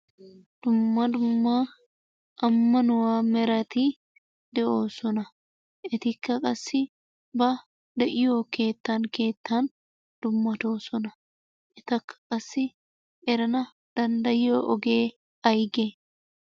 Dumma dumma ammanuwa merati de'oosona. Etikka qassi ba de'iyo keettan keettan dummatoodona. Etakka qassi erana danddayiyo ogee ayige?